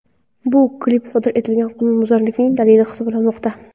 Bu klip sodir etilgan qonunbuzarlikning dalili hisoblanmoqda.